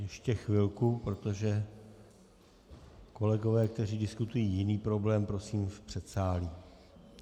Ještě chvilku, protože kolegové, kteří diskutují jiný problém, prosím v předsálí.